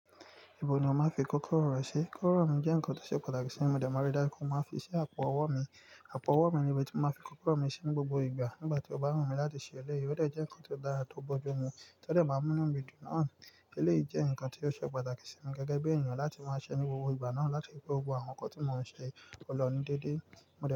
Ibo ni o má fi kókoro rẹ sí? Kúrò mi jẹ́ ǹkan tó ṣe pàtàkì sí mi. Mo dẹ̀ mọ̀rí dárunkú mo máa fi ṣe àpò ọwọ́ mi. Àpò ọwọ́ mi ni ibi tí mo má fi kókoro mi sí ní gbogbo ìgbà. Nígbà tí ó bá wù mí láti ṣe eléyìí, ó jẹ́ ǹkan tó dára tó bọ́jú mi. Tẹ́lẹ̀ máa mú mi dùn náà. Eléyìí jẹ́ ǹkan tí ó ṣe pàtàkì sí mi gẹ́gẹ́ bí èèyàn láti máa ṣe ní gbogbo ìgbà náà láti fi gbogbo àwọn nǹkan tí mò ń ṣe polọ̀ ní déédéé.